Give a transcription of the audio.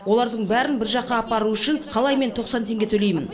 олардың бәрін бір жаққа апару үшін қалай тоқсан теңге төлеймін